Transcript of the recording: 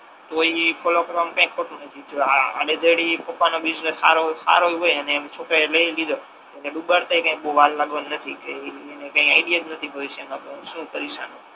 તો ઇ ફોલો કરવામા કાઇ ખોટુ નથી જો આડે ધડ એ પપ્પા નો બિસનેસ સારો હોય હારોય ય હોય એને છોકરાએ લઈ એ લીધો એને ડૂબાદત યે કઈ બહુ વાર લાગવાની નથી કે ઇ એને કઈ આઇડિયા જ નથી ભાવિષ્ય મા કે હુ શુ કકરીસ આનુ